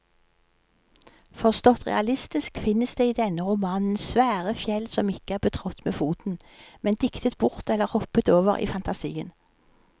Forstått realistisk finnes det i denne romanen svære fjell som ikke er betrådt med foten, men diktet bort eller hoppet over i fantasien.